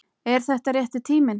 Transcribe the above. Er þetta rétti tíminn?